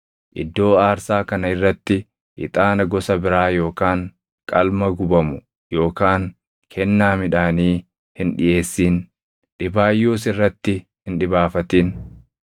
Iddoo aarsaa kana irratti ixaana gosa biraa yookaan qalma gubamu yookaan kennaa midhaanii hin dhiʼeessin; dhibaayyuus irratti hin dhibaafatin.